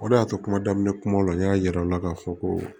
O de y'a to kuma daminɛ kumaw la n y'a yir'aw la k'a fɔ ko